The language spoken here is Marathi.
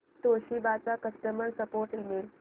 तोशिबा चा कस्टमर सपोर्ट ईमेल